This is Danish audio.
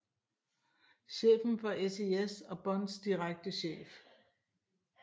Chefen for SIS og Bonds direkte chef